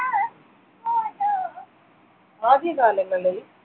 ആദ്യകാലങ്ങളിൽ